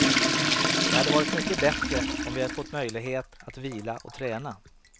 Det hade varit mycket bättre om vi fått möjlighet att vila och träna.